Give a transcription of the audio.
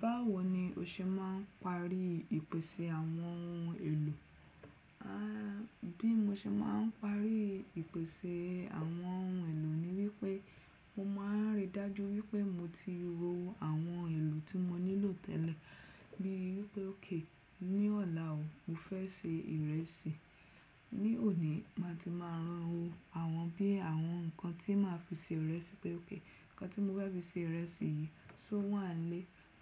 Báwo ni o ṣe máa ń parí ìpèsè àwọn ohun èlò? Bí mo ṣe máa ń parí ìpèsè àwọn ohun èlò ni wípé mo máa ń ríi dájú wípé mo ti ro àwọn èlò tí mo nílò tẹ́lẹ̀. Bíi wípé ókè, ní ọ̀la o, mo fẹ́ se ìrẹsì. Ní òní, màá ti máa ranwo àwọn bíi àwọn nǹkan tí màá fi se ìrẹsì pé ókè. Ǹkan tí mo fẹ́ fi se ìrẹsì yìí, só wàá ilé